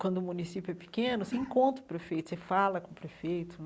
Quando o município é pequeno, você encontra o prefeito, você fala com o prefeito.